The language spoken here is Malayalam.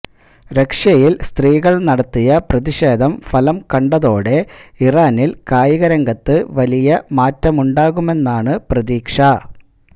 റഷ്യയില് സ്ത്രീകള് നടത്തിയ പ്രതിഷേധം ഫലം കണ്ടതോടെ ഇറാനില് കായിക രംഗത്ത് വലിയ മാറ്റമുണ്ടാകുമെന്നാണ് പ്രതീക്ഷ